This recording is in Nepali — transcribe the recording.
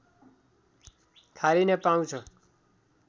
खारिन पाउँछ